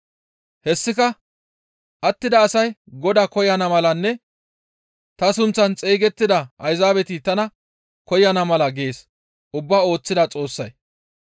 Hessika attida asay Godaa koyana malanne ta sunththaan xeygettida Ayzaabeti tana koyana mala gees ubbaa ooththida Xoossay.